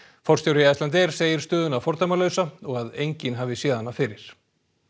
forstjóri Icelandair segir stöðuna fordæmalausa og að enginn hafi séð hana fyrir